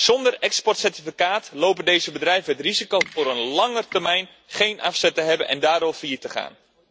Zonder exportcertificaat lopen deze bedrijven het risico voor een lange termijn geen afzet te hebben en daardoor failliet te gaan.